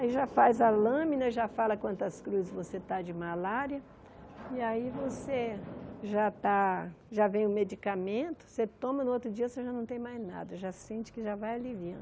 Aí já faz a lâmina, já fala quantas cruzes você está de malária, e aí você já está já vem o medicamento, você toma, no outro dia você já não tem mais nada, já sente que já vai aliviando.